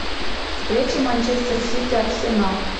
встреча манчестер сити арсенал